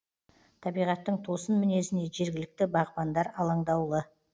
табиғаттың тосын мінезіне жергілікті бағбандар алаңдаулы